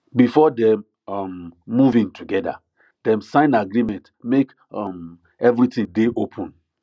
before dem um move in together dem sign agreement make um everything dey open